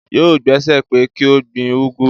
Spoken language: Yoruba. Yóò gbàsẹ pé kí ó gbin úgú